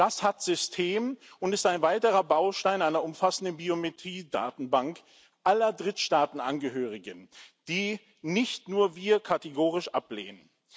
Das hat System und ist ein weiterer Baustein einer umfassenden Biometrie Datenbank aller Drittstaatenangehörigen, die nicht nur wir kategorisch ablehnen.